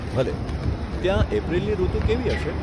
ભલે, ત્યાં એપ્રિલની ઋતુ કેવી હશે?